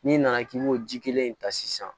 N'i nana k'i b'o ji kelen in ta sisan